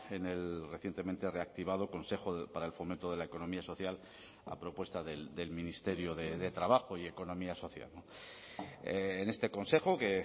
en el recientemente reactivado consejo para el fomento de la economía social a propuesta del ministerio de trabajo y economía social en este consejo que